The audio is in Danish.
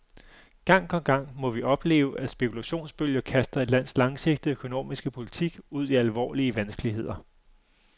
Gang på gang må vi opleve, at spekulationsbølger kaster et lands langsigtede økonomiske politik ud i alvorlige vanskeligheder.